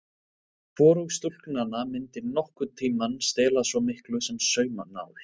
Hvorug stúlknanna myndi nokkurn tíma stela svo miklu sem saumnál.